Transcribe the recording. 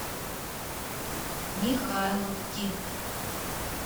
михайловки